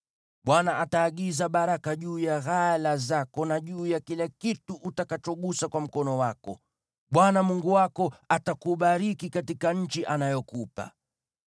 Bwana ataagiza baraka juu ya ghala zako na juu ya kila kitu utakachogusa kwa mkono wako. Bwana Mungu wako atakubariki katika nchi anayokupa.